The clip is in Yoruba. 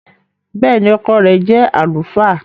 Bẹ́ẹ̀ni, ọkọ rẹ jẹ alufaa.